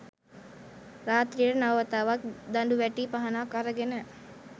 රාත්‍රියට නව වතාවක් දඬුවැටි පහනක් අරගෙන